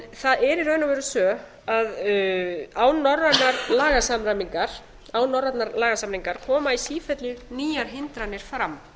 það er í raun og veru svo að án norrænnar lagasamræmingar koma í sífellu nýjar hindranir fram